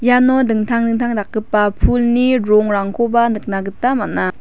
iano dingtang dingtang dakgipa pulni rongrangkoba nikna gita man·a.